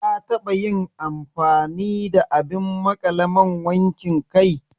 Ka taɓa yin amfani da abin maƙale man wankin kai